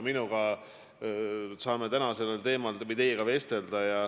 Me saame täna sellel teemal teiega vestelda.